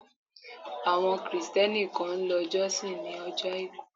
Àwọn Kristẹni kan ń lọ jọ́sìn ni ojo àìkú.